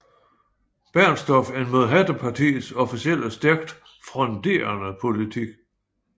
Bernstorff en mod Hattepartiets officielle stærkt fronderende politik